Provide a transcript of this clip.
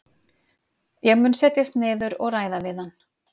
Ég mun setjast niður og ræða við hann.